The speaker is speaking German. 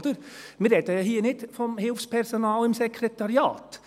Wir sprechen hier ja nicht vom Hilfspersonal im Sekretariat.